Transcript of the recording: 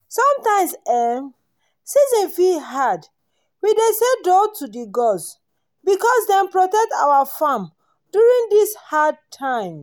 sometimes ehn! season fit hard. we dey say 'doh' to the gods because dem protect our farm during these hard times.